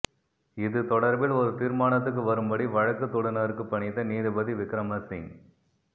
இது தொடர்பில் ஒரு தீர்மானத்துக்கு வரும்படி வழக்கு தொடுநருக்கு பணித்த நீதிபதி விக்கிரமசிங்க